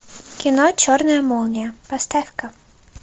кино черная молния поставь ка